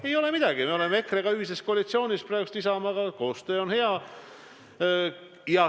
Me oleme EKRE ja Isamaaga ühises koalitsioonis ja koostöö on hea.